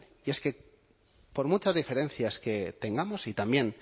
y es que por muchas diferencias que tengamos y también